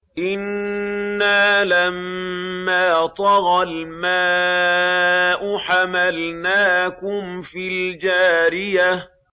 إِنَّا لَمَّا طَغَى الْمَاءُ حَمَلْنَاكُمْ فِي الْجَارِيَةِ